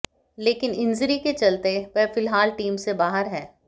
लेकिन इंजरी के चलते वह फिलहाल टीम से बाहर हैं